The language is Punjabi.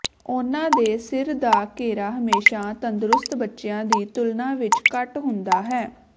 ਉਨ੍ਹਾਂ ਦੇ ਸਿਰ ਦਾ ਘੇਰਾ ਹਮੇਸ਼ਾ ਤੰਦਰੁਸਤ ਬੱਚਿਆਂ ਦੀ ਤੁਲਨਾ ਵਿਚ ਘੱਟ ਹੁੰਦਾ ਹੈ